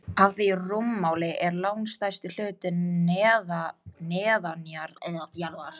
Af því rúmmáli er langstærsti hlutinn neðanjarðar.